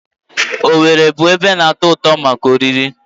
Owere bụ ebe na-atọ ụtọ maka oriri.